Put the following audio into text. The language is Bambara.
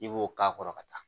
I b'o k'a kɔrɔ ka taa